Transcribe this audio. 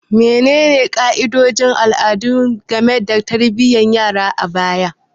Menene ka'idodin al'adu game da tarbiyyar yara a baya?